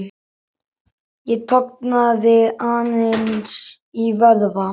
Ég tognaði aðeins í vöðva.